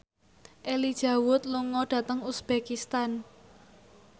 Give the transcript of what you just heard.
Elijah Wood lunga dhateng uzbekistan